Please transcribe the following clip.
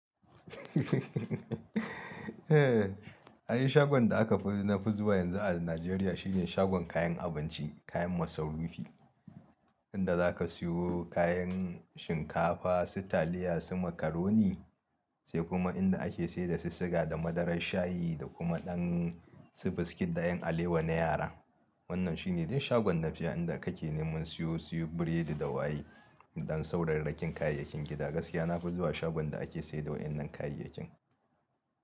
Ai shagon da nafi zuwa yanzu a Nijeriya shine shagon kayan abinci, kayan masarufi inda za ka siyo kayan shinkafa, sitaliya, su makaroni sai kuma inda ake saida sisiga da madarar shayi da kuma ɗan su biskit da 'yan alewa na yara. Wannan shine dai shagon da inda kake neman siyo biredi da waye da ɗan saurarrakin kayan gida. Gaskiya nafi zuwa shagon da ake saida wa'inan kayayyakin.